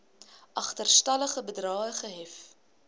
agterstallige bedrae gehef